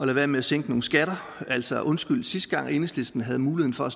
være med at sænke nogle skatter altså undskyld sidste gang enhedslisten havde muligheden for at